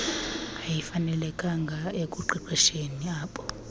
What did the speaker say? ayifanelekanga ekuqeqesheni ab